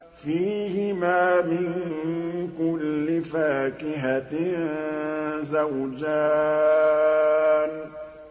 فِيهِمَا مِن كُلِّ فَاكِهَةٍ زَوْجَانِ